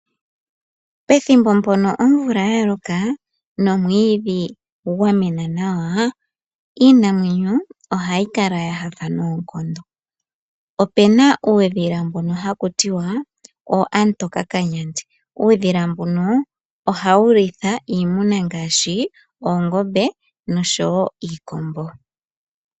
Pethimbo mpono omvula ya loka nomwiidhi gwa mena nawa, iinamwenyo ohayi kala ya nyanyukwa noonkondo. Opu na uudhila mbono haku tiwa ookamutokakanyandi. Uudhila mbuno ohawu litha iimuna ngaashi oongombe nosho wo iikombo.